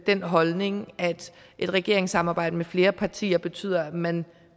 den holdning at et regeringssamarbejde med flere partier betyder at man